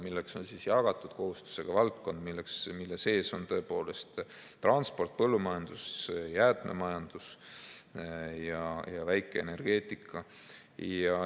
Selleks on jagatud kohustusega valdkond, mille sees on transport, põllumajandus, jäätmemajandus ja väikeenergeetika.